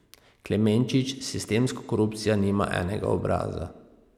Klemenčič: 'Sistemska korupcija nima enega obraza.